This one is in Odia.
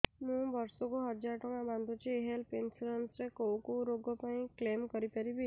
ମୁଁ ବର୍ଷ କୁ ହଜାର ଟଙ୍କା ବାନ୍ଧୁଛି ହେଲ୍ଥ ଇନ୍ସୁରାନ୍ସ ରେ କୋଉ କୋଉ ରୋଗ ପାଇଁ କ୍ଳେମ କରିପାରିବି